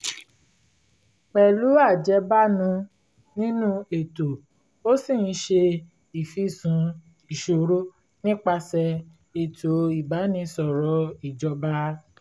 pẹ̀lú ajẹ́bánu nínú ètò ó ṣì ń ṣe ìfìsùn ìṣòro nípasẹ̀ ètò ìbánisọ̀rọ̀ ìjọba